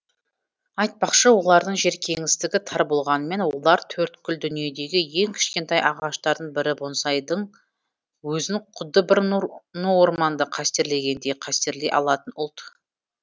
айтпақшы олардың жер кеңістігі тар болғанымен олар төрткүл дүниедегі ең кішкентай ағаштардың бірі бонсайдың өзін құдды бір ну орманды қастерлегендей қастерлей алатын ұлт